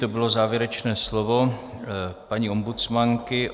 To bylo závěrečné slovo paní ombudsmanky.